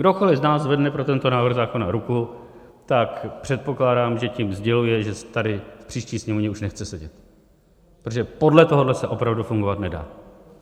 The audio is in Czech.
Kdokoli z nás zvedne pro tento návrh zákona ruku, tak předpokládám, že tím sděluje, že tady v příští Sněmovně už nechce sedět, protože podle tohohle se opravdu fungovat nedá.